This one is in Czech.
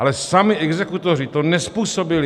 Ale sami exekutoři to nezpůsobili.